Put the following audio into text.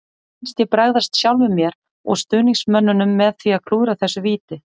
Mér fannst ég bregðast sjálfum mér og stuðningsmönnunum með því að klúðra þessu víti.